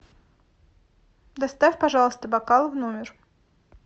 доставь пожалуйста бокал в номер